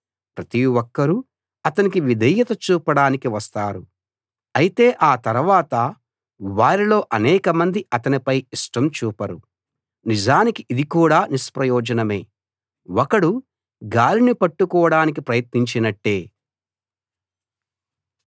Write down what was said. ప్రతి ఒక్కరూ అతనికి విధేయత చూపడానికి వస్తారు అయితే ఆ తరవాత వారిలో అనేకమంది అతనిపై ఇష్టం చూపరు నిజానికి ఇది కూడా నిష్ప్రయోజనమే ఒకడు గాలిని పట్టుకోడానికి ప్రయత్నించినట్టే